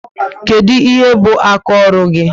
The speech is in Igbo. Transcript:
Kedu ihe bu aka ọrụ gị?